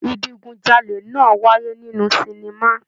Idigunjale náà wáyé nínú sinima.